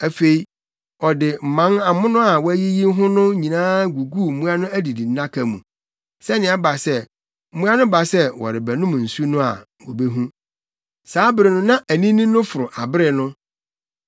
Afei, ɔde mman amono a wayiyi ho no nyinaa guguu mmoa no adidi nnaka mu, sɛnea ɛba sɛ, mmoa no ba sɛ wɔrebɛnom nsu no bi a, wobehu. Saa bere no na anini no foro abere no.